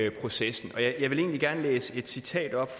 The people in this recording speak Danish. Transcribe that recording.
i processen og jeg vil egentlig gerne læse et citat op